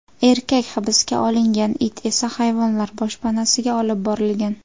Erkak hibsga olingan, it esa hayvonlar boshpanasiga olib borilgan.